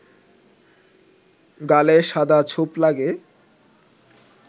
গালে সাদা ছোপ লাগে